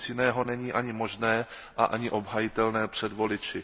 Nic jiného není ani možné a ani obhajitelné před voliči.